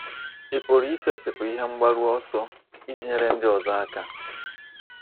Ị̀ pụrụ isetịpụ ihe mgbaru ọsọ iji nyere ndị ọzọ aka?